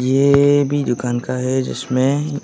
ये भी दुकान का है जिसमें